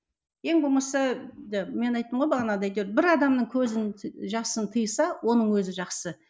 ең болмаса мен айттым ғой бағана да әйтеуір бір адамның көзін жасын тыйса оның өзі жақсы